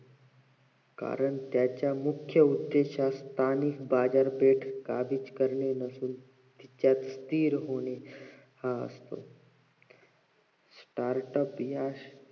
कारण त्याच्या मुख्य उद्धेश हा स्थानिक बाजारपेठ काबीज करणे नसून त्यात स्थिर होणे हा असतो startup या